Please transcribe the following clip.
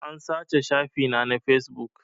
An sace shafi na na fesbuk